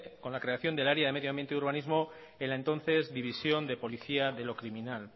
con la creación del área de medio ambiente y urbanismo en la entonces división de policía de lo criminal